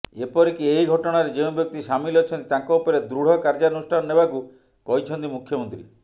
ଏପରିକି ଏହି ଘଟଣାରେ ଯେଉଁ ବ୍ୟକ୍ତି ସାମିଲ ଅଛନ୍ତି ତାଙ୍କ ଉପରେ ଦୃଢ଼ କାର୍ଯ୍ୟାନୁଷ୍ଠାନ ନେବାକୁ କହିଛନ୍ତି ମୁଖ୍ୟମନ୍ତ୍ରୀ